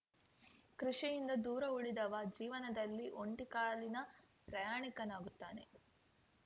ಕೃಷಿಯಿಂದ ದೂರ ಉಳಿದವ ಜೀವನದಲ್ಲಿ ಒಂಟಿಕಾಲಿನ ಪ್ರಯಾಣಿಕನಾಗುತ್ತಾನೆ